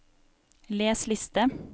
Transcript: les liste